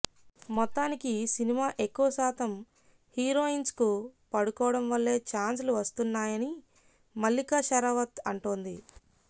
మొత్తానికి సినిమా ఎక్కువ శాతం హీరోయిన్స్కు పడుకోవడం వల్లే చాన్స్లు వస్తున్నాయని మల్లికా షరావత్ అంటోంది